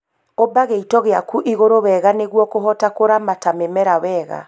Ũmba gĩito gĩaku igũrũ wega nĩguo kũhota kũramata mĩmera wega